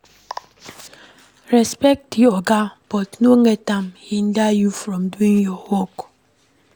Respect di oga but no let am hinder you from doing your work